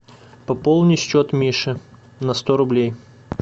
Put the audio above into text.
пополни счет миши на сто рублей